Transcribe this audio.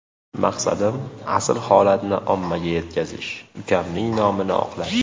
Maqsadim asl holatni ommaga yetkazish, ukamning nomini oqlash.